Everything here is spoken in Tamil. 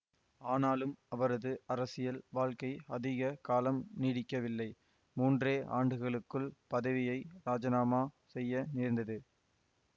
ஆனாலும் அவரது அரசியல் வாழ்க்கை அதிக காலம் நீடிக்கவில்லை மூன்றே ஆண்டுகளுக்குள் பதவியை ராஜினாமா செய்ய நேர்ந்தது